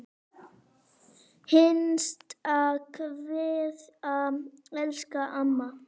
HINSTA KVEÐA Elsku amma.